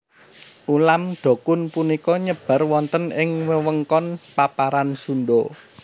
Ulam dokun punika nyebar wonten ing wewengkon paparan Sunda